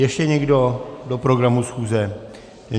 Ještě někdo do programu schůze?